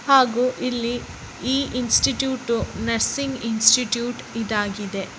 ಹಾಗು ಇಲ್ಲಿ ಈ ಇಸ್ಟಿಟ್ಯೂಟ್ ನರ್ಸಿಂಗ್ ಇಸ್ಟಿಟ್ಯೂಟ್ ಆಗಿದೆ.